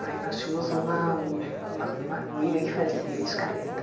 Aí nós tínhamos uma uma uma amiga que fazia escaleta.